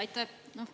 Aitäh!